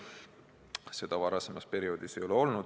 Seda võimalust varasemal perioodil ei olnud.